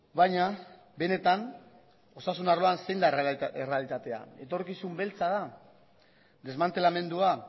baina benetan osasun arloan zein da errealitatea etorkizun beltza da desmantelamendua